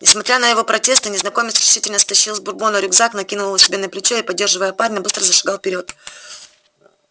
несмотря на его протесты незнакомец решительно стащил с бурбона рюкзак накинул его себе на плечо и поддерживая парня быстро зашагал вперёд